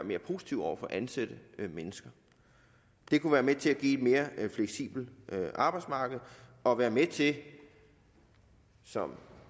være positiv over for at ansætte mennesker det kunne være med til at give et mere fleksibelt arbejdsmarked og være med til som